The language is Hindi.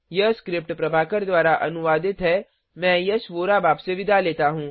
यह स्क्रिप्ट प्रभाकर द्वारा अनुवादित है मैं यश वोरा अब आपसे विदा लेता हूँ